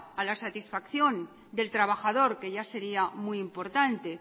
a la satisfacción del trabajador que ya sería muy importante